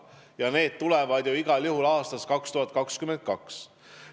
Ja need tulevad igal juhul aastaks 2022.